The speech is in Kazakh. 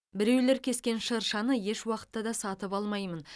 біреулер кескен шыршаны еш уақытта да сатып алмаймын